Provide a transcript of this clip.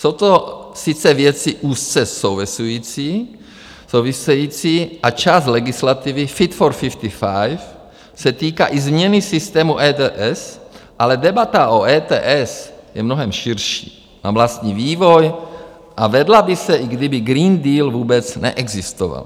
Jsou to sice věci úzce související a část legislativy Fit for 55 se týká i změny systému ETS, ale debata o ETS je mnohem širší, má vlastní vývoj a vedla by se, i kdyby Green Deal vůbec neexistoval.